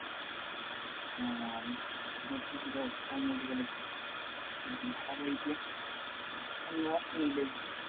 നാടൻ മറ്റ് ചില ഒറ്റമൂലികളെ കുറിച്ചാണ് അഭിലാഷ് ന്യൂഡൽഹി